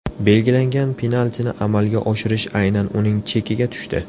Belgilangan penaltini amalga oshirish aynan uning chekiga tushdi.